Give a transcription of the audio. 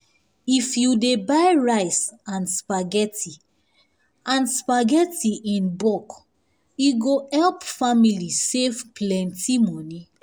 if you dey buy rice and spaghetti and spaghetti in bulk e go help family save plenty money.